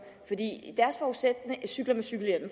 cykler med cykelhjelm